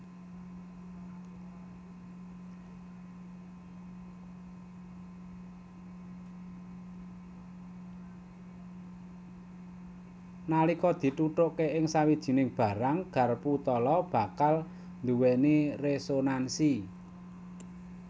Nalika dithuthuké ing sawijiné barang garpu tala bakal nduwéni résonansi